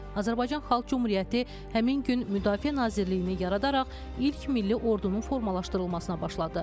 Azərbaycan Xalq Cümhuriyyəti həmin gün Müdafiə Nazirliyini yaradaraq ilk milli ordunun formalaşdırılmasına başladı.